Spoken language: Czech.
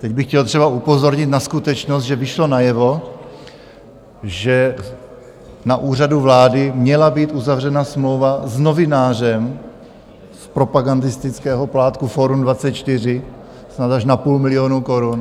Teď bych chtěl třeba upozornit na skutečnost, že vyšlo najevo, že na Úřadu vlády měla být uzavřena smlouva s novinářem z propagandistického plátku Fórum 24 snad až na půl milionu korun.